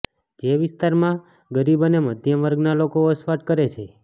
જે વિસ્તારમાં ગરીબ અને મધ્યમવર્ગના લોકો વસવાટ કરે છે